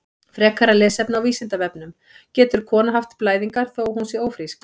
Frekara lesefni á Vísindavefnum: Getur kona haft blæðingar þó að hún sé ófrísk?